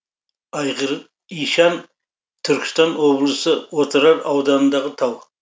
айғыр ишан түркістан облысы отырар ауданындағы тау